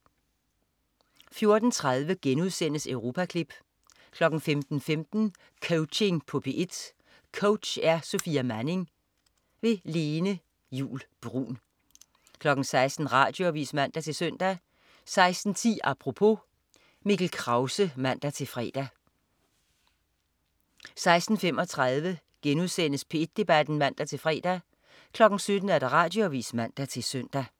14.30 Europaklip* 15.15 Coaching på P1. Coach: Sofia Manning. Lene Juul Bruun 16.00 Radioavis (man-søn) 16.10 Apropos. Mikkel Krause (man-fre) 16.35 P1 Debat* (man-fre) 17.00 Radioavis (man-søn)